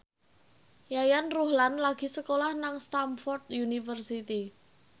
Yayan Ruhlan lagi sekolah nang Stamford University